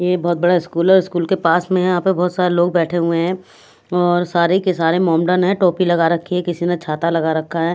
ये बहुत बड़ा स्कूल है और स्कूल के पास में यहाँ पर बहुत सारे लोग बैठे हुए हैं और सारे के सारे मोमडन हैं टोपी लगा रखी है किसी ने छाता लगा रखा है।